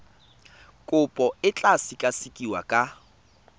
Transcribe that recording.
kopo e tla sekasekiwa ka